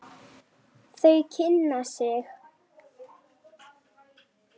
Þau kynna sig.